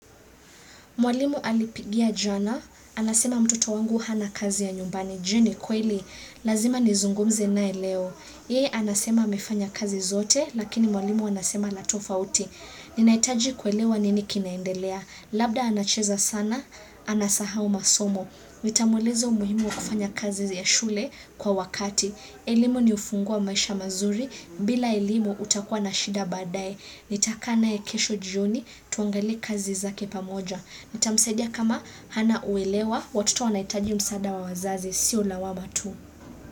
Mwalimu alipigia jana, anasema mtoto wangu hana kazi ya nyumbani je ni kweli, lazima nizungumze naye leo. Yee anasema amefanya kazi zote, lakini mwalimu anasema la tofauti. Ninaitaji kuelewa nini kinaendelea, labda anacheza sana, anasahau masomo. Nitamueleza umuhimu wa kufanya kazi ya shule kwa wakati. Elimu ni ufunguo wa maisha mazuri, bila elimu utakua na shida baadae. Nitakaa naye kesho jioni, tuangalie kazi zake pamoja. Nitamsaidia kama hana uelewa, watoto wanaitaji msaada wa wazazi sio lawama tu.